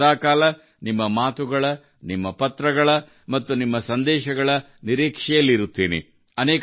ನಾನು ಸದಾಕಾಲ ನಿಮ್ಮ ಮಾತುಗಳ ನಿಮ್ಮ ಪತ್ರಗಳ ಮತ್ತು ನಿಮ್ಮ ಸಂದೇಶಗಳ ನಿರೀಕ್ಷೆಯಲ್ಲಿ ಇರುತ್ತೇನೆ